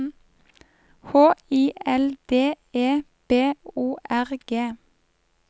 H I L D E B O R G